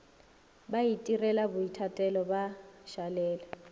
ba itirela boithatelo ba šalela